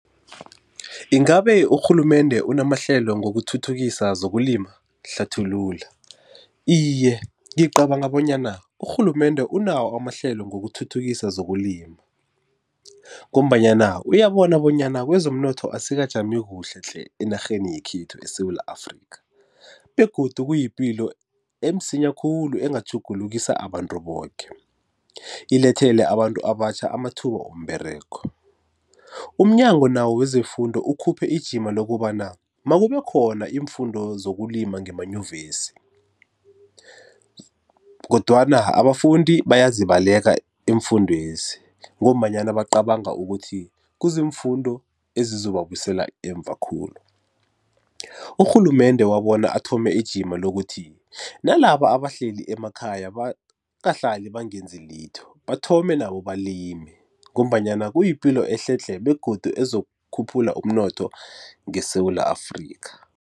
Ingabe urhulumende unamahlelo ngokuthuthukisa zokulima? Hlathulula. Iye ngicabanga bonyana urhulumende unawo amahlelo ngokuthuthukisa zokulima, ngombanyana uyabona bonyana kwezomnotho asikajami kuhle tle enarheni yekhethu eSewula Afrika begodu kuyipilo emsinya khulu engatjhugulukisa abantu boke ilethele abantu abatjha amathuba womberego. Umnyango nawo wezeFundo ukhuphe ijima lokobana makube khona iimfundo zokulima ngemaNyuvesi, kodwana abafundi bayazibaleka iimfundwezi ngombanyana bacabanga ukuthi kuziimfundo ezizobabusela emva khulu. Urhulumende wabona athome ijima lokuthi nalaba abahleli emakhaya bangahlali bangenzi litho bathome nabo balime ngombanyana kuyipilo ehle tle begodu ezokukhuphula umnotho ngeSewula Afrika.